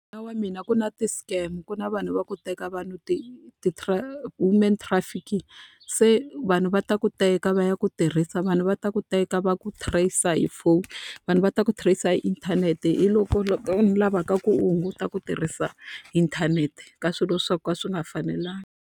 wa mina ku na ti-scam, ku na vanhu va ku teka vanhu ti human trafficking. Se vanhu va ta ku teka va ya ku tirhisa, vanhu va ta ku teka va ku trace-a hi phone, vanhu va ta ku trace-a hi inthanete. ni lavaka ku u hunguta ku tirhisa inthanete ka swilo swo ka swi nga fanelangi.